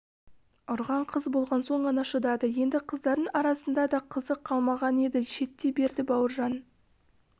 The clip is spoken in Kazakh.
ұрған қыз болған соң ғана шыдады енді қыздардың арасында да қызық қалмаған еді шеттей берді бауыржан